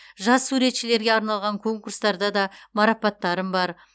жас суретшілерге арналған конкурстарда да марапаттарым бар